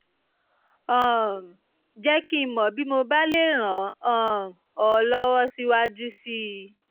um jẹ́ kí n mọ̀ bí mo bá lè ràn um ọ́ lọ́wọ́ síwájú sí i